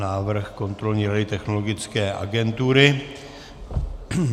Návrh kontrolní rady Technologické agentury.